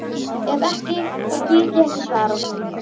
Ef ekki þá get ég ekki svarað.